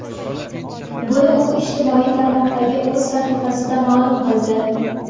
Buni u ijtimoiy tarmoqdagi o‘z sahifasida ma’lum qildi .